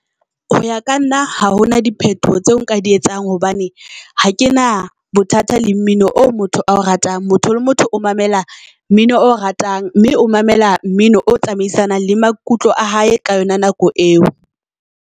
Ho ya ka nna ha hona diphetoho tseo nka di etsang hobane ha ke na bothata le mmino o motho ao ratang. Motho le motho o mamela mmino ao ratang. Mme o mamela mmino o tsamaisanang le maikutlo a hae ka yona nako eo.